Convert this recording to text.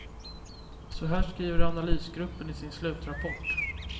Så här skriver analysgruppen i sin slutrapport.